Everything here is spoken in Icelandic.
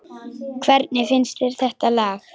Hvernig finnst þér þetta lag?